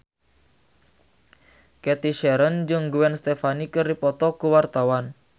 Cathy Sharon jeung Gwen Stefani keur dipoto ku wartawan